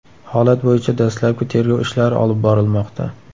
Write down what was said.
Holat bo‘yicha dastlabki tergov ishlari olib borilmoqda.